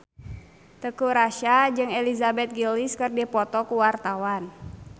Teuku Rassya jeung Elizabeth Gillies keur dipoto ku wartawan